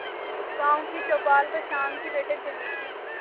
गांव की चौपाल पर शाम की बैठक जमी थी